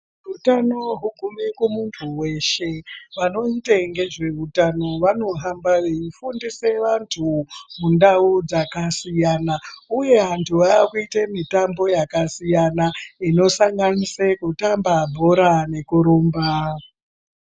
Utano hugume kumunthu weshe vanoita ngezveutano vanohamba veifundisa vanthu mundau dzakasiyana uye vanthu vaakuiye mitambo yakasiyana inosanganise kutamba bhora nekurumba.